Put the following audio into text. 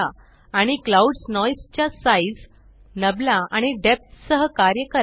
आणि clouds noise च्या size नाबला आणि डेप्थ सह कार्य करा